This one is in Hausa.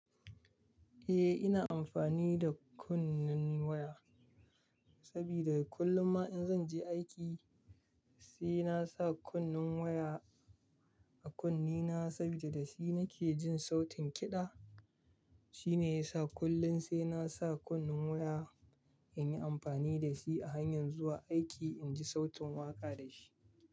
Eh, ina amfani da kunnen waya sabida kullum ma in zan je aiki sai na sa kunnen waya a kunnena sabida da shi nake jin sautin kiɗa. Shine yasa kullun sai na sa kunnen waya in yi amfani da shi a hanyan zuwa aiki in ji sautin waƙa da shi.